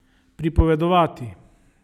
Pripovedovati.